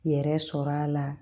Yɛrɛ sɔrɔ a la